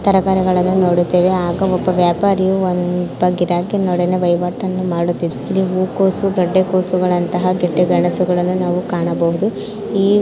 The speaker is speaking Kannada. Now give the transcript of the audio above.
ಈ ತರಕಾರಿಗಳನ್ನು ನೋಡುತ್ತೇವೆ ಹಾಗೂ ಒಬ್ಬ ವ್ಯಾಪಾರಿಯು ಒಬ್ಬ ಗಿರಾಕಿ ಬೈ ಮಾಡುತ್ತಿದ್ದಾನೆ. ಇಲ್ಲಿ ಹೂಕೋಸು ಗೆಡ್ಡೆಕೋಸು ಗೆಡ್ಡೆಗೆಣಸುಗಳನ್ನು ನಾವು ಕಾಣಬಹುದು.